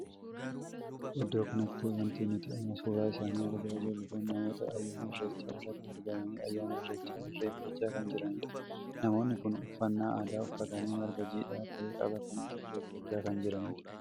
Iddoo kanatti wanti nuti amma suuraa isaanii argaa jirru kun namoota ayyaana irreechaa irratti argamanii ayyaana irreechaa irreeffachaa kana jiranidha. namoonni kun uffannaa aadaa uffatanii marga jiidhaa tahe qabatanii irreeffachaa kan jiranidha.